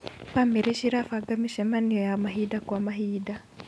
Bamĩrĩ cirabanga mĩcemanio ya mahinda kwa mahinda.